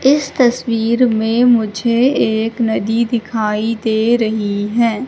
इस तस्वीर में मुझे एक नदी दिखाई दे रही हैं।